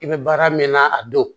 I bɛ baara min na a don